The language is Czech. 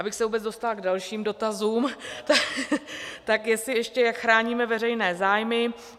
Abych se vůbec dostala k dalším dotazům, tak jestli ještě, jak chráníme veřejné zájmy.